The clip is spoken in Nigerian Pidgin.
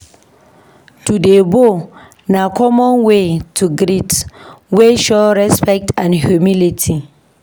To dey bow na common way to greet wey show respect and humility.